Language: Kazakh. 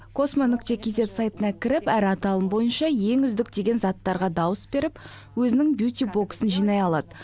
космо нүкте кейзэт сайтына кіріп әр аталым бойынша ең үздік деген заттарға дауыс беріп өзінің бьютибоксын жинай алады